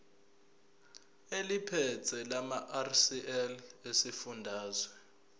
eliphethe lamarcl esifundazwe